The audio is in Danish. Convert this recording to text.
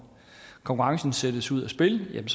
konkurrencen sættes ud af spillet